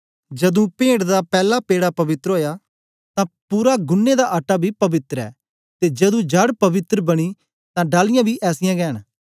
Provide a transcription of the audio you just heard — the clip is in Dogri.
जदू पेंट दा पैला पेड़ा पवित्र ओया तां पूरा गुन्नें दा आटा बी पवित्र ऐ ते जदू जड़ पवित्र बनी तां डालियाँ बी ऐसीयां गै न